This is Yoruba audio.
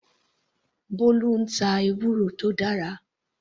Bolu ń ta ewúro tó dára.